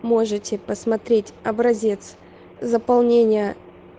можете посмотреть образец заполнения